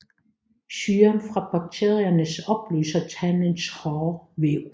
Syren fra bakteriernes opløser tandens hårde væv